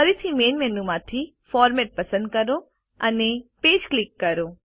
ફરીથી main menu માંથીFormat પસંદ કરો અને પેજ ક્લિક કરો